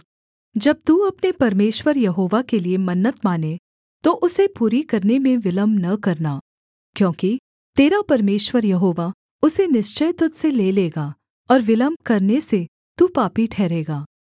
जब तू अपने परमेश्वर यहोवा के लिये मन्नत माने तो उसे पूरी करने में विलम्ब न करना क्योंकि तेरा परमेश्वर यहोवा उसे निश्चय तुझ से ले लेगा और विलम्ब करने से तू पापी ठहरेगा